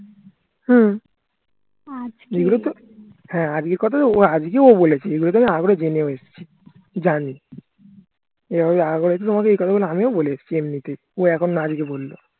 হ্যা এগুলোতো হ্যা আজকের কোথাই তো আজকে ও বলেছে এগুলাতো আমি আগে জেনেও এসছি জানি এ কথাগুলো আমিও বলে এসছি এমনিতেই ও এখন না আজকে বললো